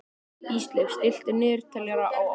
Ísleif, stilltu niðurteljara á átján mínútur.